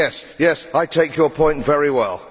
Yes, I take your point very well.